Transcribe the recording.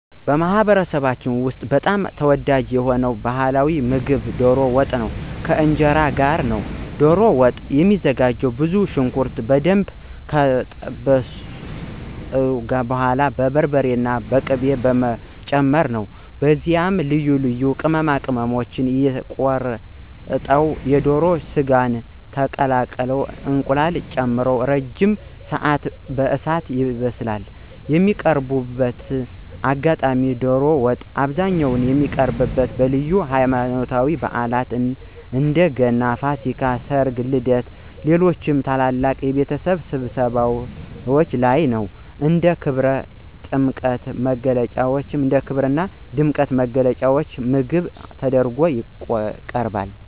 በማኅበረሰባችን ውስጥ በጣም ተወዳጅ የሆነው ባሕላዊ ምግብ ዶሮ ወጥ ከእንጀራ ጋር ነው። ዶሮ ወጥ የሚዘጋጀውም ብዙ ሽንኩርት በደንብ ከጠበሱ በኋላ በርበሬና ቅቤ በመጨመር ነው። ከዚያም ልዩ ልዩ ቅመማ ቅመሞች፣ የተቆረጠ የዶሮ ሥጋና የተቀቀለ እንቁላል ተጨምሮ ለረጅም ሰዓት በእሳት ይበስላል። የሚቀርብበት አጋጣሚም ዶሮ ወጥ በአብዛኛው የሚቀርበው በልዩ ሃይማኖታዊ በዓላት (እንደ ገናና ፋሲካ)፣ ሠርግ፣ ልደትና ሌሎች ታላላቅ የቤተሰብ ስብሰባዎች ላይ ነው። እንደ ክብርና ድምቀት መግለጫ ምግብ ተደርጎ ይቀርባል።